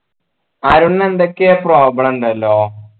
അരുണ് എന്തൊക്കെയോ problem ഇണ്ടല്ലോ